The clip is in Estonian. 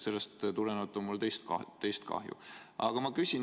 Sellest tulenevalt on mul teist kahju.